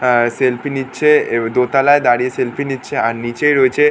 আহ selfie নিচ্ছে। এ দোতলায় দাঁড়িয়ে সেলফি নিচ্ছে। আর নিচে রয়েছে --